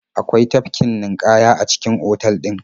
Akwai tafkin ninƙaya a cikin otal ɗin.